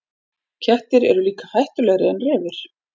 Kettir eru líka hættulegri en refir.